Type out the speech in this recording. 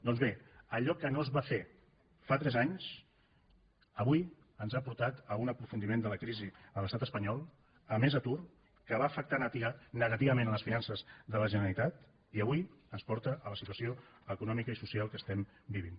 doncs bé allò que no es va fer fa tres anys avui ens ha portat a un aprofundiment de la crisi a l’estat espanyol a més atur que va afectar negativament les finances de la generalitat i avui ens porta a la situació econòmica i social que estem vivint